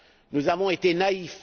Nous avons été naïfs.